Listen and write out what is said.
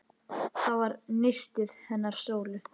Það var nistið hennar Sólu.